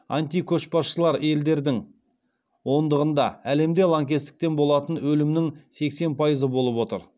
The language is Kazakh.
антикөшбасшылар елдердің ондығында әлемде лаңкестіктен болатын өлімнің сексен пайызы болып отыр